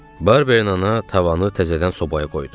Barberin ana tavanı təzədən sobaya qoydu.